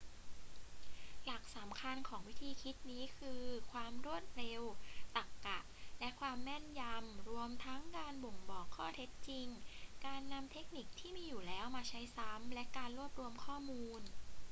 หลักสำคัญของวิธีคิดนี้คือ ความรวดเร็ว ตรรกะ และความแม่นยำ รวมทั้งการบ่งบอกข้อเท็จจริง การนำเทคนิคที่มีอยู่แล้วมาใช้ซ้ำ และการรวบรวมข้อมูล